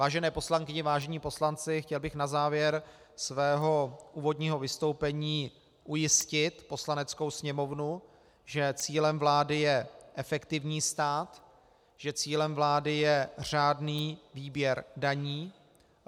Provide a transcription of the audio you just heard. Vážené poslankyně, vážení poslanci, chtěl bych na závěr svého úvodního vystoupení ujistit Poslaneckou sněmovnu, že cílem vlády je efektivní stát, že cílem vlády je řádný výběr daní.